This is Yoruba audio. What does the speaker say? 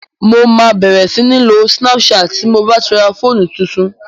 Mo ma bẹ̀rẹ̀ sí ń lo snapchat ti ń bá ti ra fóònù tuntun